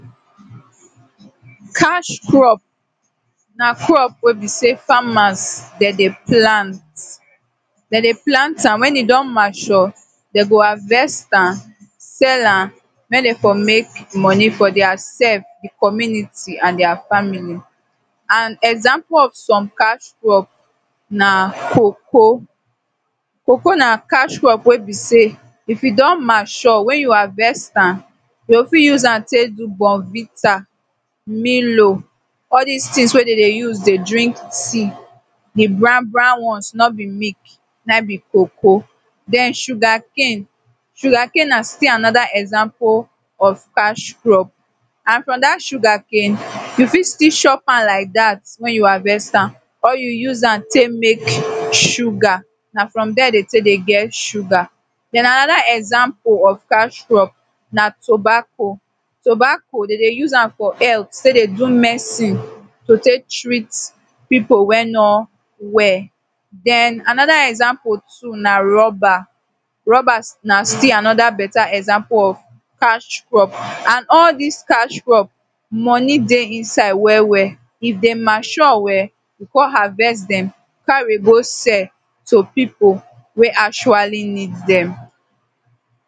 Cash crop na crop wey be sey farmers dey dey plant, dey dey plant am wen e don mature dey go harvest am, sell am make dem for make money for dia sef, di community and dia family and some example of some cash crop na coco. Coco na cash crop wey be sey if e don mature wen you harvest am you go fit use am take do bonvita, milo all dis tins wey dem dey use dey drink tea, di brown brown ones no be milk naim be coco. Den sugar cane, sugar cane na still anoda example of cash crop and from dat sugar cane you fit still chop am like dat wen you harvest am or you use am take make sugar na from dere dey take dey get sugar. Den anoda example of cash crop na tobacco, tobacco dey dey use am for health take dey do medicine to take treat pipu wey no well. Den anoda example too na rubber, rubber na still anoda example of cash crop and all dis cash crop, money dey inside well well, if dem mature well you kon harvest dem carry go sell to pipu wey actually need dem.